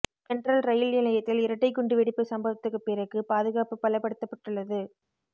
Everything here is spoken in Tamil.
சென்ட்ரல் ரயில் நிலையத்தில் இரட்டை குண்டு வெடிப்பு சம்பவத்துக்கு பிறகு பாதுகாப்பு பலப்படுத்தப்பட்டுள்ளது